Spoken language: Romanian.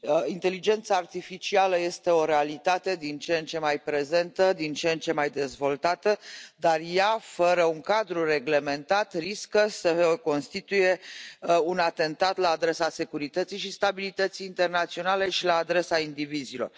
Inteligența artificială este o realitate din ce în ce mai prezentă, din ce în ce mai dezvoltată, dar fără un cadru reglementat, ea riscă să constituie un atentat la adresa securității și stabilității internaționale și la adresa indivizilor.